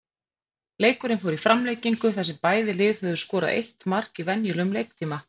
Leikurinn fór í framlengingu þar sem bæði lið höfðu skorað eitt mark í venjulegum leiktíma.